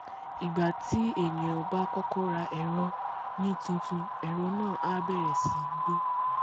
ìgbà tí ènìà bá kọ́kọ́ ra ẹ̀rọ ní títun ẹ̀rọ náà á bẹ̀rẹ̀ sí í gbọ́